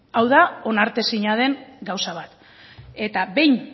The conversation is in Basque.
hau da onartezina den gauza bat eta behin